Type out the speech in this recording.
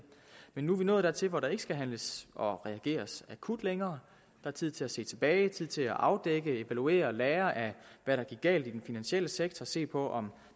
men nu er vi nået dertil hvor der ikke skal handles og reageres akut længere er tid til at se tilbage tid til at afdække evaluere lære af hvad der gik galt i den finansielle sektor se på om